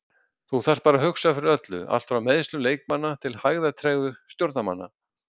Þú þarft bara að hugsa fyrir öllu, allt frá meiðslum leikmanna til hægðatregðu stjórnarmanna.